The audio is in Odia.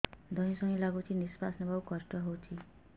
ଧଇଁ ସଇଁ ଲାଗୁଛି ନିଃଶ୍ୱାସ ନବା କଷ୍ଟ ହଉଚି